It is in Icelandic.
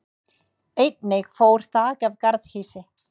Einnig fór þak af garðhýsi